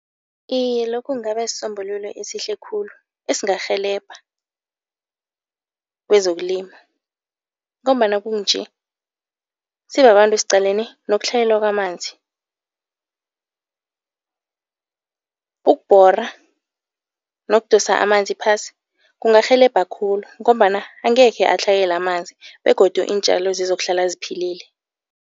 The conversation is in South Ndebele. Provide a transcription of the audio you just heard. Iye lokhu kungaba sisombululo esihle khulu esingarhelebha kwezokulima ngombana kukunje, sibabantu siqalene nokutlhayela kwamanzi. Ukubhora nokudosa amanzi phasi kungarhelebha khulu ngombana angekhe atlhayele amanzi begodu iintjalo zizokuhlala ziphilile.